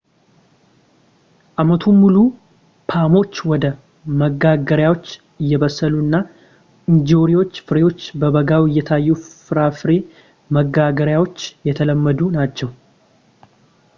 አመቱን ሙሉ ፖሞች ወደ መጋገሪያዎች እየበሰሉ እና እንጆሪዎችና ፍሬዎች በበጋው እየታዩ የፍራፍሬ መጋገሪያዎች የተለመዱ ናቸው